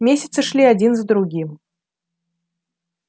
месяцы шли один за другим